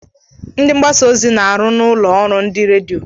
Ndị mgbasa ozi na-arụ na ụlọ ọrụ ndị redio.